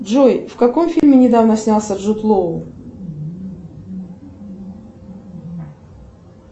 джой в каком фильме недавно снялся джуд лоу